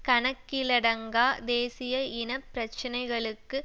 கணக்கிலடங்கா தேசிய இன பிரச்சினைகளுக்கு